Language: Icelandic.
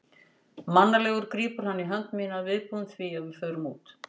Mannalegur grípur hann í hönd mína, viðbúinn því að við förum út.